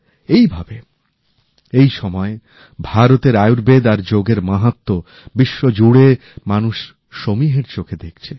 এইভাবে এই সময়ে ভারতের আয়ুর্বেদ আর যোগের মাহাত্ম্য বিশ্বজুড়ে মানুষ সমীহের চোখে দেখছে